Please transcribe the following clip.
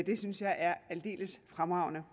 det synes jeg er aldeles fremragende